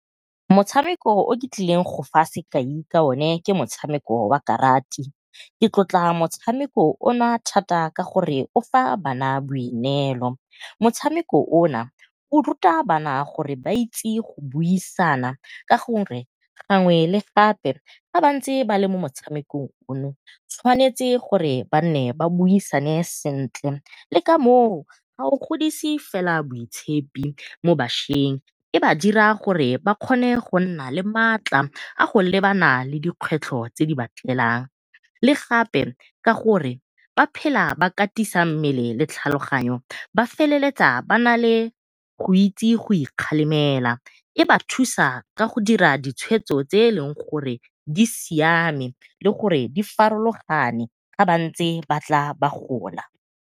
Motshameko o ke tlileng go fa sekai ka one ke motshameko wa karati ke tlotla motshameko o na thata ka gore o fa bana boineelo, motshameko o na o ruta bana gore ba itse go buisana ka gore gangwe le gape ga ba ntse ba le mo motshamekong ono tshwanetse gore ba nne ba buisane sentle. Le ka moo ga o godise fela boitshepi mo bašweng e ba dira gore ba kgone go nna le maatla a go lebana dikgwetlho tse di ba tlelang. Le gape ka gore ba phela ba katisa mmele le tlhaloganyo ba feleletsa ba nale go itse go ikgalemela, e ba thusa ka go dira ditshwetso tse e leng gore di siame le gore di farologane ga bantse ba tla ba gola.